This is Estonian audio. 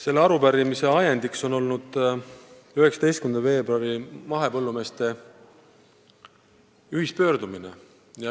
Selle arupärimise esitamise ajendiks oli mahepõllumeeste 19. veebruari ühispöördumine.